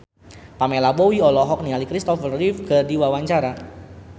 Pamela Bowie olohok ningali Kristopher Reeve keur diwawancara